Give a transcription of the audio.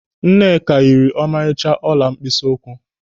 Nneka yiri ọmarịcha ọla mkpịsị ụkwụ.